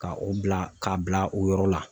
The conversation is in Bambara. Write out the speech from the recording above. Ka o bila , k'a bila o yɔrɔ la.